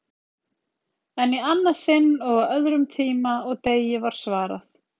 En í annað sinn og á öðrum tíma og degi var svarað.